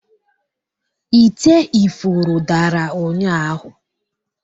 ite ifuru dara ụnyahụ